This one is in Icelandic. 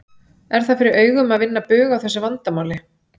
Er það fyrir augum að vinna bug á þessu vandamáli?